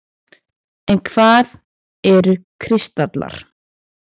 En hvað eru kristallar?